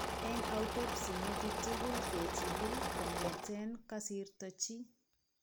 Eng' autopsy metit tugul kechigil kong'eeten kosirto chi.